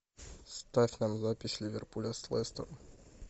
ставь нам запись ливерпуля с лестером